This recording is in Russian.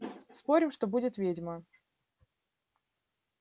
спорим что будет ведьма